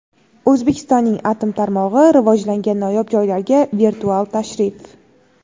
O‘zbekistonning atom tarmog‘i rivojlangan noyob joylarga virtual tashrif.